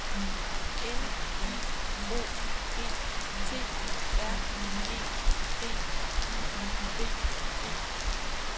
N I O G T R E D I V E